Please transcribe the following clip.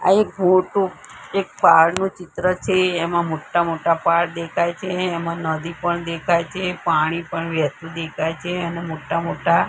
આ એક મોટું એક પહાડ નું ચિત્ર છે એમાં મોટા મોટા પહાડ દેખાય છે એમાં નદી પણ દેખાય છે પાણી પણ વહેતું દેખાય છે અને મોટા મોટા--